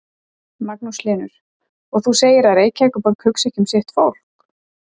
Magnús Hlynur: Og þú segir að Reykjavíkurborg hugsi ekki um sitt fólk?